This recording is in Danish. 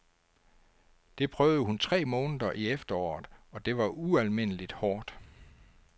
Det prøvede hun tre måneder i efteråret og det var ualmindeligt hårdt.